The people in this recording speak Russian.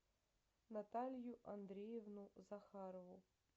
наталью андреевну захарову